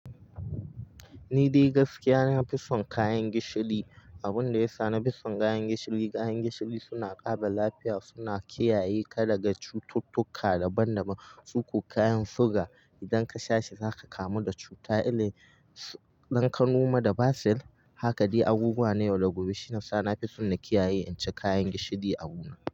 Ni dai gaskiya na fi son kayan gishiri. Abin da ya sa na fi son kayan gishiri, kayan gishiri suna ƙara lafiya, suna kiyaye ka daga cututtuka daban daban. Suko kayan sugar idan ka sha shi za ka kamu da cuta. Ɗan ka noma da basir, haka dai abubuwa na yau da gobe. Shi yasa na fi son na kiyaye in ci kayan gishiri abu na.